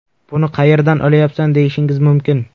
Buni qayerdan olyapsan, deyishingiz mumkin.